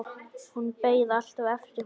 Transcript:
Hún beið alltaf eftir honum.